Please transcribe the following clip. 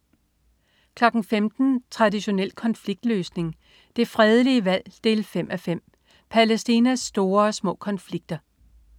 15.00 Traditionel konfliktløsning. Det fredelige valg 5:5. Palæstinas store og små konflikter